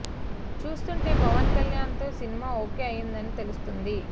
చూస్తుంటే పవన్ కళ్యాణ్ తో cinema okay అయిందని తెలుస్తోంది